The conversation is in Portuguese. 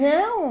Não?